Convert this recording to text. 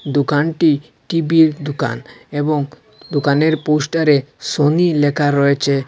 দুকানটি টিবির -এর দুকান এবং দুকানের পোস্টার -এ সোনি লেকা রয়েচে।